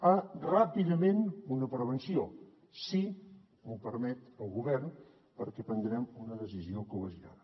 ah ràpidament una prevenció si m’ho permet el govern perquè prendrem una decisió col·legiada